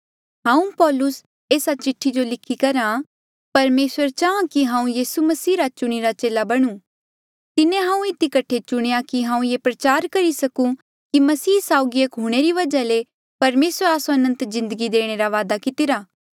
हाऊँ पौलुसा एस्सा चिठ्ठी जो लिखी करहा परमेसरे चाहां कि हाऊँ यीसू मसीह रा चुणीरा चेला बणुं तिन्हें हांऊँ इधी कठे चुणेया कि हांऊँ ये प्रचार करी सकूं कि मसीह साउगी एक हूंणे री वजहा ले परमेसरे आस्सो अनंत जिन्दगी देणे रा वादा कितिरा